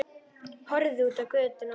Horfði út á götuna.